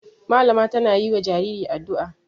Malama tana yi wa jariri addu'a.